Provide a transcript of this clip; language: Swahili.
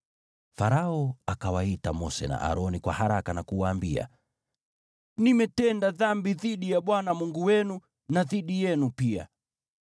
Farao akawaita Mose na Aroni kwa haraka na kuwaambia, “Nimetenda dhambi dhidi ya Bwana Mungu wenu na dhidi yenu pia.